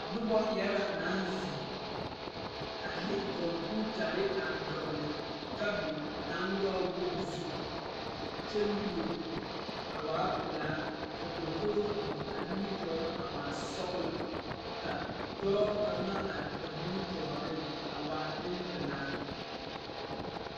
Nobɔ yaga naŋ zeŋ a de kɔmpiutarre a dɔgle tabol naŋ waa woge zu kyɛ luore a waa pelaa ka dokogro biŋ a nimitoore a waa sɔglɔ ka dɔɔ kaŋa are ba nimitooreŋ a waa neŋpilaa.